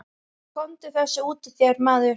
Komdu þessu út úr þér, maður!